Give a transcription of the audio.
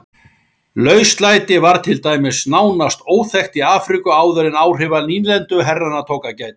Lauslæti var til dæmis nánast óþekkt í Afríku áður en áhrifa nýlenduherrana tók að gæta.